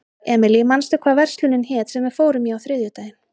Emely, manstu hvað verslunin hét sem við fórum í á þriðjudaginn?